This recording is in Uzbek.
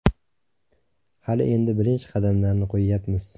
Hali endi birinchi qadamlarni qo‘yyapmiz.